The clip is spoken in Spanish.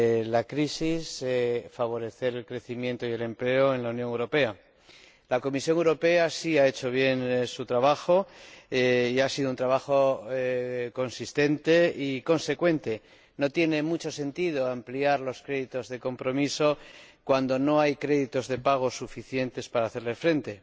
la crisis y favorecer el crecimiento y el empleo en la Unión Europea. La Comisión Europea sí ha hecho bien su trabajo y ha sido un trabajo consistente y consecuente. No tiene mucho sentido ampliar los créditos de compromiso cuando no hay créditos de pago suficientes para hacerles frente.